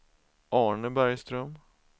Arne Bergström